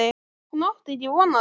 Hún átti ekki von á þessu.